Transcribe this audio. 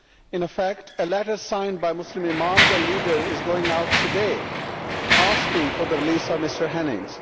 In fact a letter signed by Muslim imams and leaders is going out today asking for the release of Mr Henning.